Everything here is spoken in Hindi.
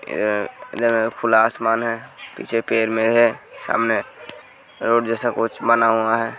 ए यह खुला असमान है। पीछे पेड़ में है सामने रोड जैसा कुछ बना हुआ है।